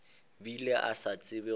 bile a sa tsebe gore